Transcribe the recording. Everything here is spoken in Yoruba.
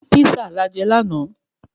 Písà la je láàná